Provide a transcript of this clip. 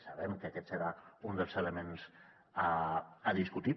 sabem que aquest serà un dels elements a discutir